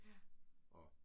Ja